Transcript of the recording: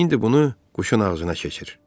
İndi bunu quşun ağzına keçir.